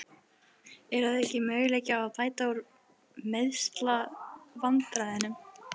Er að auki möguleiki á að bæta úr meiðslavandræðunum?